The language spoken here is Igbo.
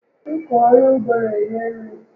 Ịkọ ọrụ ugbo n'enye nri